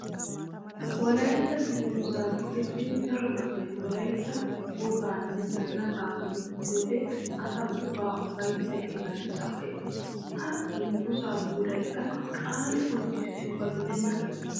Wolaytta dunguzza go'ettiddi daro asay wolaytta woganne zanaqa qoncccissiyoode asaa ubbaa ufayssay iran cawayees! Ha dungguza puulayikka qaali qonccissiyobba gidenna!